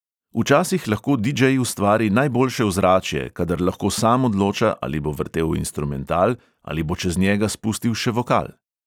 Včasih lahko didžej ustvari najboljše ozračje, kadar lahko sam odloča, ali bo vrtel instrumental ali bo čez njega spustil še vokal.